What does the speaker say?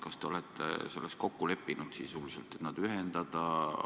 Kas te olete selles sisuliselt kokku leppinud, et nad ühendada?